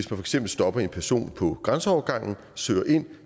for eksempel stopper en person på grænseovergangen og søger kan